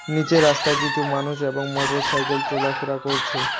নীচের রাস্তায় কিছু মানুষ এবং মোটরসাইকেল চলাফেরা করছে।